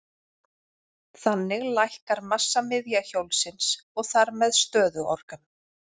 Þannig lækkar massamiðja hjólsins og þar með stöðuorkan.